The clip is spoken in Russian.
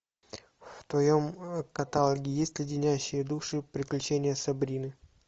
в твоем каталоге есть леденящие душу приключения сабрины